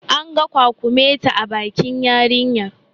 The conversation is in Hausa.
An ga kwakumeti a bakin yarinyar